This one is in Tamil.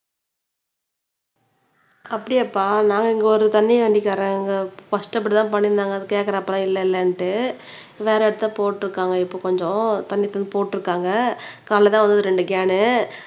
அப்படியாப்பா நாங்க இங்க ஒரு தண்ணி வண்டிகாரங்க ஃபர்ஸ்ட் அப்படித்தான் பண்ணிட்டு இருந்தாங்க கேட்கிறப்போ எல்லாம் இல்லை இல்லனுட்டு வேற இடத்தில் போட்டுருக்காங்க இப்ப கொஞ்சம் தண்ணி போட்டுருக்காங்க காலையில தான் வந்தது ரெண்டு கேன்